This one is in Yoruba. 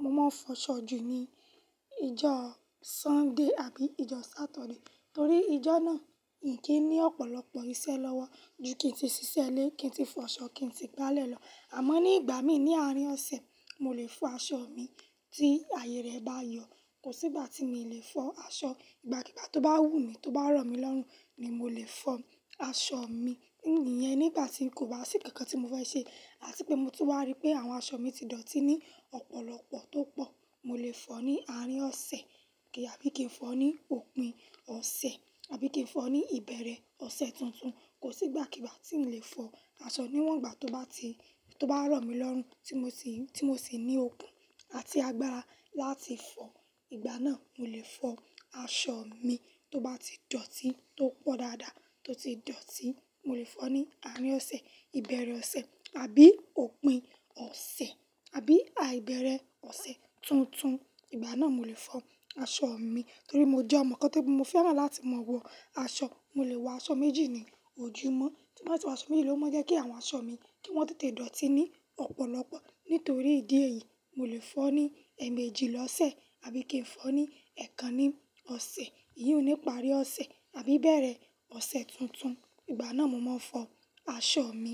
mo máa ń fọ aṣọ jù ni ijọ́ Sunday àbí ijọ́ Saturday. Torí ijọ́ náà mi kì í ní ọ̀pọ̀lọpọ̀ iṣẹ́ lọ́wọ́ ju kí n tí ṣiṣẹ́ lé, kí n tí fọ aṣọ, kí n tí gbálẹ̀ lọ. Àmọ́ nígbà mí ní àárín ọ̀sẹ̀, mo lè fọ aṣọ mi tí àyè rẹ̀ bá yọ̀. Kò sí ìgbà tí mi lè fọ aṣọ. Ìgbàkígbà tó bá wù mí, tó bá rọ̀ mí lọ́rùn ni mo lè fọ aṣọ mi. Iyẹn nígbà tí kò bá sí kankan tí mo fẹ́ ṣe àti pé mo ti wá rí pé àwọn aṣọ mi ti dọ̀tí ní ọ̀pọ̀lọpọ̀ tó pọ̀. Mo lè fọ ní àárín ọ̀sẹ̀ kì í àbí kí n fọ ní òpin ọ̀sẹ̀ àbí kí n fọ ní ìbẹ̀rẹ̀ ọ̀sẹ̀ tuntun. Kò sí ìgbàkígbà tí n lè fọ aṣọ níwọ̀n gbà tó bá ti, tó bá rọ̀ mí lọ́rùn tí mo sì, tí mo sì ní okun àti agbára láti fọ. Ìgbà náà mo lè fọ aṣọ mi tó bá ti dọ̀tí tó pọ̀ dáadáa tó ti dọ̀tí. Mo lè fọ ní àárín ọ̀sẹ̀, ìbẹ̀rẹ̀ ọ̀sẹ̀ àbí òpin ọ̀sẹ̀ àbí àìbẹ̀rẹ̀ ọ̀sẹ̀ tuntun. Ìgbà náà mo lè fọ aṣọ mi torí mo jẹ́ ọmọ kan tí mo fẹ́ràn láti mọ̀wọ́ aṣọ. Mo lè wọ aṣọ méjì ní ojúmọ́. Tí mo bá ti wọ aṣọ méjì ló máa jẹ́ kí àwọn aṣọ mi kí wọ́n tètè dọ̀tí ní ọ̀pọ̀lọpọ̀. Nítorí ìdí èyí, mo lè fọ́ ní ẹ̀ẹ̀mẹ́jì lọ́sẹ̀ àbí kí n fọ ní ẹ̀ẹ̀kan ní ọ̀sẹ̀. Íyún nìparí ọ̀sẹ̀ àbí ìbẹ̀rẹ̀ ọ̀sẹ̀ tuntun. Ìgbà náà mo máa fọ aṣọ mi.